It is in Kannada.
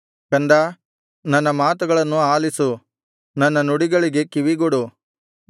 ಕಂದಾ ನನ್ನ ಮಾತುಗಳನ್ನು ಆಲಿಸು ನನ್ನ ನುಡಿಗಳಿಗೆ ಕಿವಿಗೊಡು